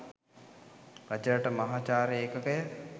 රජරට මහාචාර්ය ඒකකය